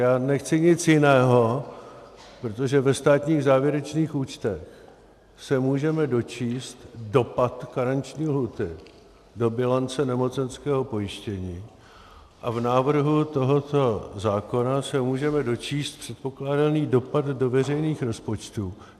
Já nechci nic jiného, protože ve státních závěrečných účtech se můžeme dočíst dopad karenční lhůty do bilance nemocenského pojištění a v návrhu tohoto zákona se můžeme dočíst předpokládaný dopad do veřejných rozpočtů.